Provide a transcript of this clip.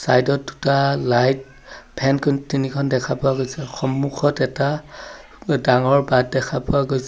Side ত দুটা light fan কোন তিনিখন দেখা পোৱা গৈছে সন্মুখত এটা ডাঙৰ বাট দেখা পোৱা গৈছে।